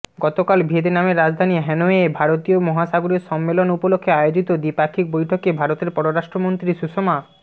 গতকাল ভিয়েতনামের রাজধানী হ্যানয়ে ভারতীয় মহাসাগরীয় সম্মেলন উপলক্ষে আয়োজিত দ্বিপাক্ষিক বৈঠকে ভারতের পররাষ্ট্রমন্ত্রী সুষমা